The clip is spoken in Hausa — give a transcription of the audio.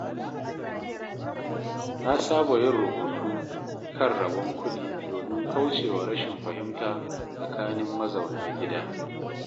Na saba yin rubutu kan rabon kuɗi domin kaucewa rashin fahimta tsakanin mazauna gida.